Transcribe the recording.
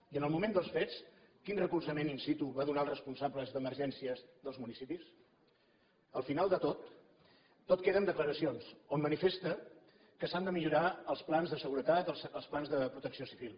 i en el moment dels fets quin recolzament in situ va donar als respon·sables d’emergències dels municipis al final de tot tot queda en declaracions on manifesta que s’han de millorar els plans de seguretat els plans de protecció civil